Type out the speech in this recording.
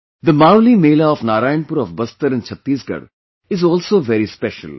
The 'Mawli Mela' of Narayanpur of Bastar in Chhattisgarh is also very special